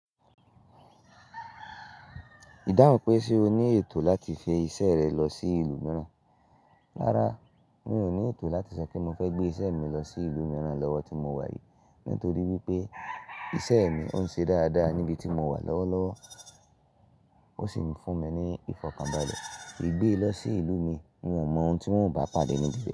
Dáhùn pé ṣe o ní ètò láti fi isẹ́ rẹ̀ lọ sí ìlú mìíràn? Rárá, mi ò ní ètò láti ṣẹ kí n mọ́ fẹ́ gbé isẹ́ mi lọ sí ìlú mìíràn lọ́wọ́ tí mo wà yìí, nítorí pé isẹ́ mi ó ń ṣe dáradára níbi tí mo wà lọ́wọ́ lọ́wọ́, ó sì ń fún mi ní ìfọkànbàlẹ̀. Gbé ẹ lọ sí ìlú mi, n ò mọ ohun tí wọn ó bá padè níbi re.